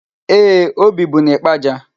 Ee, o bibu n'Ịkpaja.